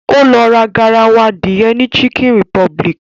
Ó lọ ra garawa adìẹ ni chicken republic